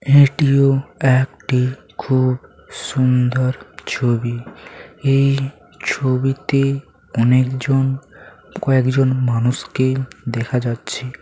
এটিও একটি খুব সুন্দর ছবি এই ছবিতে অনেকজন--কয়েকজন মানুষকে দেখা যাচ্ছে।